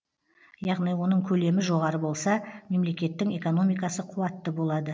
яғни оның көлемі жоғары болса мемлекеттің экономикасы қуатты болады